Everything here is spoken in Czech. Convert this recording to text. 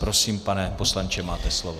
Prosím, pane poslanče, máte slovo.